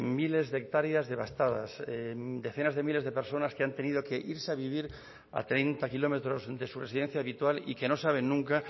miles de hectáreas devastadas decenas de miles de personas que han tenido que irse a vivir a treinta kilómetros de su residencia habitual y que no saben nunca